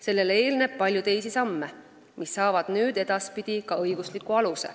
Sellele eelneb palju teisi samme, mis saavad edaspidiseks ka õigusliku aluse.